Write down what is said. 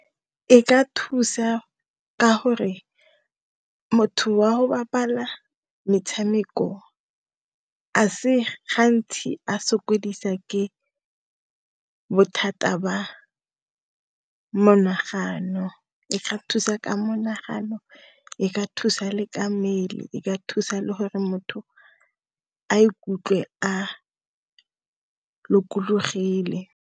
E ka thusa ka gore, motho wa go bapala metshameko a se gantsi a sokodisa ke bothata ba monagano, e ka thusa ka monagano, e ka thusa le ka mmele, e ka thusa le gore motho a ikutlwe a lokologile.